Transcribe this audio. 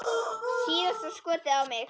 Síðasta skotið á mig.